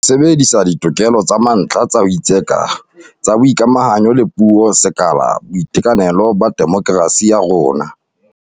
Ho sebedisa ditokelo tsa mantlha tsa ho itseka, tsa boikamahanyo le puo ke sekala sa boitekanelo ba demokerasi ya rona.